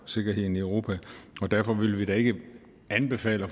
sikkerheden i europa derfor vil vi da ikke anbefale